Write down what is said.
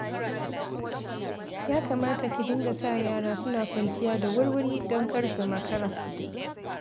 Ya kamata ki dinga sa yara suna kwanciya da wurwuri don kar su makara.